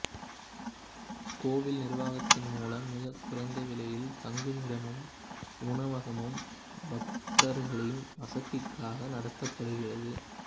கோவில் நிர்வாகத்தின் மூலம் மிக குறைந்த விலையில் தங்குமிடமும் உணவகமும் பக்தர்களின் வசதிக்காக நடத்தப்படுகிறது